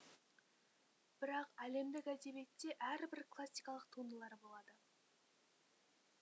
бірақ әлемдік әдебиетте әрбір классикалық туындылар болады